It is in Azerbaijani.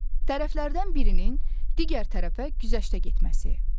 Tərəflərdən birinin digər tərəfə güzəştə getməsi.